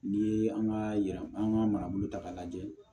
N'i ye an ka an ka marabolo ta k'a lajɛ